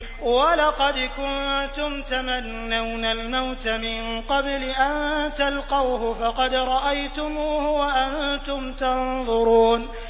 وَلَقَدْ كُنتُمْ تَمَنَّوْنَ الْمَوْتَ مِن قَبْلِ أَن تَلْقَوْهُ فَقَدْ رَأَيْتُمُوهُ وَأَنتُمْ تَنظُرُونَ